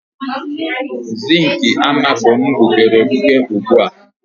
Zink amako m gbukere egbuke ugbu a.